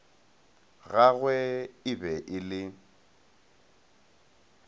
gagwe e be e le